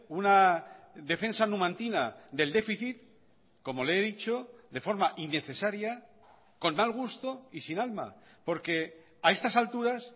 una defensa numantina del déficit como le he dicho de forma innecesaria con mal gusto y sin alma porque a estas alturas